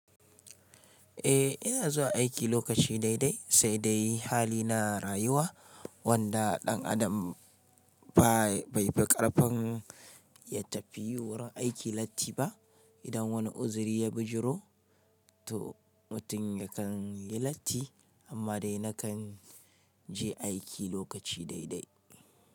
Eh, ina zuwa aiki lokaci daidai sai dai hali na rayuwa wanda ɗan adam bai fi ƙarfin ya tafi wurin aiki latti ba. Idan wani uzuri ya bijiro to mutum yakan yi latti amma dai na kan je aiki lokaci daidai.